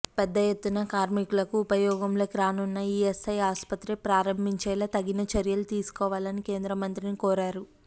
పెద్ద ఎత్తున కార్మికులకు ఉపయోగంలోకి రానున్న ఈఎస్ఐ ఆసుపత్రి ప్రారంభించేలా తగిన చర్యలు తీసుకోవాలని కేంద్ర మంత్రిని కోరారు